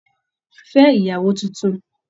Fẹ ìyàwó títún!